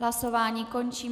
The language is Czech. Hlasování končím.